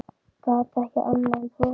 Gat ekki annað en brosað.